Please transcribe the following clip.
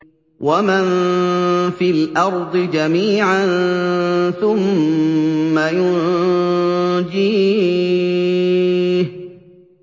وَمَن فِي الْأَرْضِ جَمِيعًا ثُمَّ يُنجِيهِ